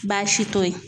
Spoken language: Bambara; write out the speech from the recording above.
Baasi to ye